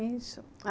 Isso.